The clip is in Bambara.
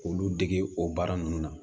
K'olu dege o baara ninnu na